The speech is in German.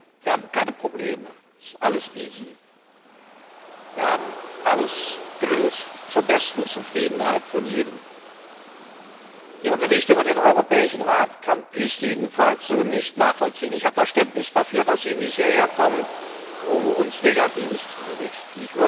Wir haben keine Probleme, es ist alles Wir haben alles zur besten Zufriedenheit von jedem gelöst. Ihre Berichte über den Europäischen Rat kann ich jedenfalls so nicht nachvollziehen. Ich habe Verständnis dafür, dass Sie nicht hierherkommen, um uns Negatives zu berichten.